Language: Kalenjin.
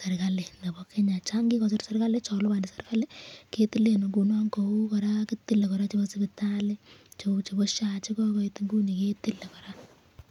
serikali nebo Kenya, chon kikosir serikali chon liboni serikali ketilen ing'unon kou kora kitile kora chebo sipitali, cheu chebo SHA chekokoit inguni ketile kora.